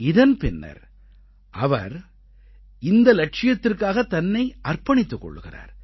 இதன் பின்னர் அவர் இந்த இலட்சியத்திற்காகத் தன்னை அர்ப்பணித்துக் கொள்கிறார்